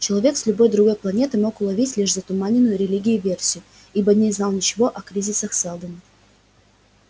человек с любой другой планеты мог уловить лишь затуманенную религией версию ибо не знал ничего о кризисах сэлдона